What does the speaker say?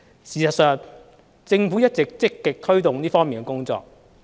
事實上，政府一直積極推動這方面的工作。